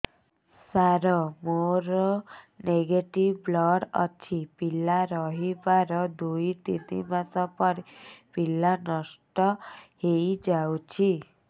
ସାର ମୋର negative blood ଅଛି ପିଲା ରହିବାର ଦୁଇ ତିନି ମାସ ପରେ ପିଲା ନଷ୍ଟ ହେଇ ଯାଉଛି